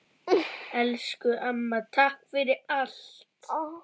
Elsku amma, takk fyrir allt!